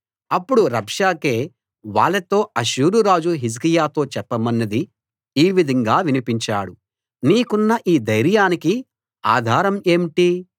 అప్పుడు రబ్షాకే వాళ్ళతో అష్షూరురాజు హిజ్కియాతో చెప్పమన్నది ఈ విధంగా వినిపించాడు నీకున్న ఈ ధైర్యానికి ఆధారం ఏంటి